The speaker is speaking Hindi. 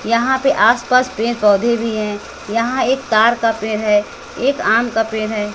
यहां पे आस पास पेड़ पौधे भी है यहां एक ताड़ का पेड़ है एक आम का पेड़ है।